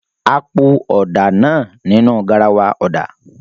A po ọ̀dà náà nínú garawa ọ̀dà.